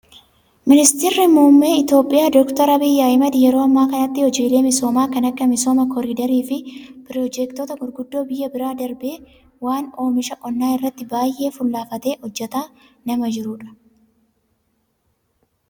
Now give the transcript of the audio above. Ministeerri muummee Itoophiyaa doktar Abiyyi Ahmad yeroo ammaa kanatti hojiilee misoomaa kan akka misooma koriidarii fi piroojeektota gurguddoo biyyaa bira darbee waan oomisha qonnaa irratti baay'ee fuulleffatee hojjataa nama jirudha.